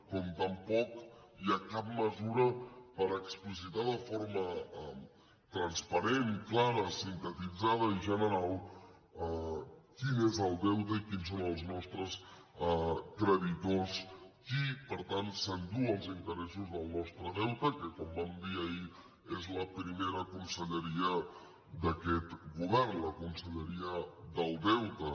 com tampoc hi ha cap mesura per explicitar de forma transparent clara sintetitzada i general quin és el deute i quins són els nostres creditors qui per tant s’enduu els interessos del nostre deute que com vam dir ahir és la primera conselleria d’aquest govern la conselleria del deute